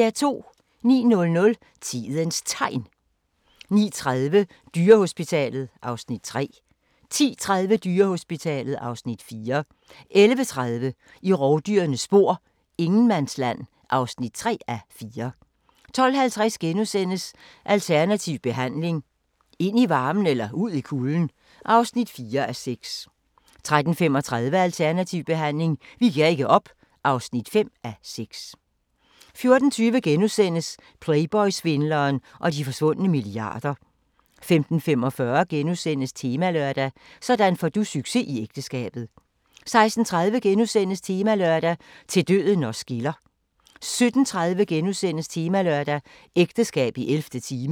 09:00: Tidens Tegn 09:30: Dyrehospitalet (Afs. 3) 10:30: Dyrehospitalet (Afs. 4) 11:30: I rovdyrenes spor: Ingenmandsland (3:4) 12:50: Alternativ behandling – ind i varmen eller ud i kulden? (4:6)* 13:35: Alternativ behandling – vi giver ikke op (5:6) 14:20: Playboy-svindleren og de forsvunde milliarder * 15:45: Temalørdag: Sådan får du succes i ægteskabet * 16:30: Temalørdag: Til døden os skiller * 17:30: Temalørdag: Ægteskab i 11. time *